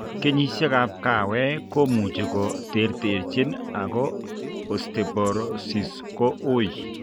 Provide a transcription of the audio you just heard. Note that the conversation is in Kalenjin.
kenyisiek ab kaweg komuch ko terterchin ago osteoporosis ko uui